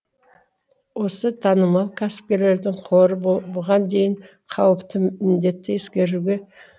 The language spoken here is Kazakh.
осы танымал кәсіпкердің қоры бұған дейін қауіпті індетті ескеруге